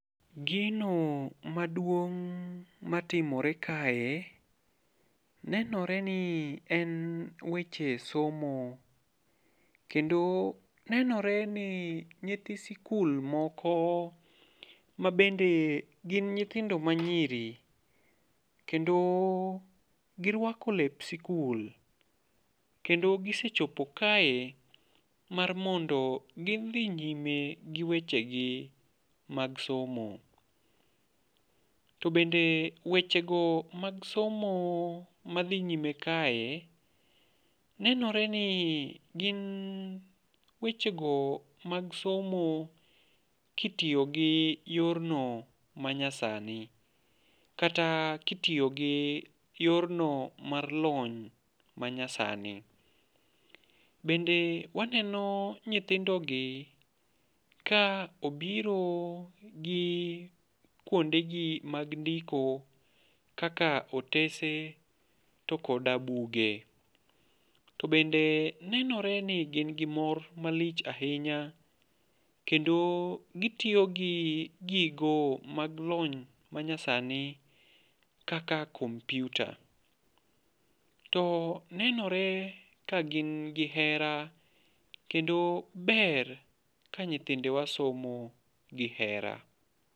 Gino maduong' matimore kae, nenore ni en weche somo. Kendo nenore ni nyithi sikul moko mabende gin nyithindo ma nyiri. Kendo girwako lep sikul. Kendo gisechopo kae mar mondo gidhi nyime gi weche gi mag somo. To bende weche go mag somo madhi nyime kae, nenore ni gin weche go mag somo kitiyo gi yorno manyasani. Kata kitiyo gi yorno mar lony manyasani. Bende waneno nyithindogi ka obiro gi kuondegi mag ndiko kaka otese, to koda buge. To bende nenore ni gin gi mor malich ahinya, kendo gitiyo gi gigo mag lony manyasani kaka computer. To nenore ka gin gi hera kendo ber ka nyithindewa somo gi hera.